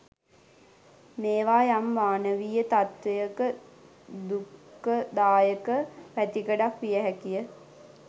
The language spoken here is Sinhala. මේවා යම් මානවීය තත්ත්වයක දුක්ඛදායක පැතිකඩක් විය හැකිය.